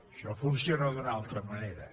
això funciona d’una altra manera